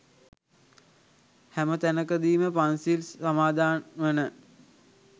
හැම තැනකදීම පන්සිල් සමාදන් වන